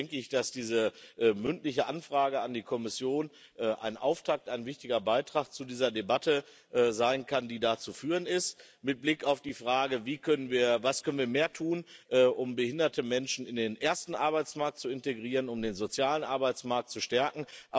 Deswegen denke ich, dass diese Anfrage zur mündlichen Beantwortung an die Kommission ein Auftakt ein wichtiger Beitrag zu dieser Debatte sein kann, die da zu führen ist mit Blick auf die Frage Was können wir mehr tun, um behinderte Menschen in den ersten Arbeitsmarkt zu integrieren, um den sozialen Arbeitsmarkt zu stärken?